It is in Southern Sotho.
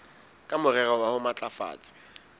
ka morero wa ho matlafatsa